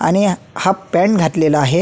आणि half pant घातलेला आहे.